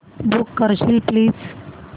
book करशील please